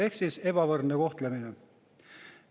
Ehk siis ebavõrdne kohtlemine.